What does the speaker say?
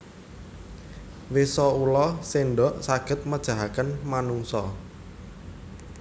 Wisa Ula sendok saged mejahaken manungsa